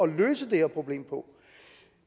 løse det her problem på